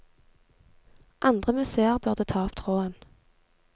Andre museer burde ta opp tråden.